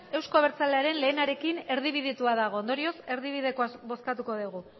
euzko abertzalearen lehenarekin erdibidetua dago ondorioz erdibidekoa bozkatuko dugu